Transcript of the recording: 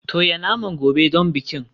Toya naman gobe don bikin.